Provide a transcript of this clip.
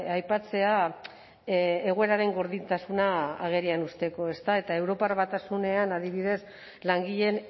aipatzea egoeraren gordintasuna agerian uzteko ezta eta europar batasunean adibidez langileen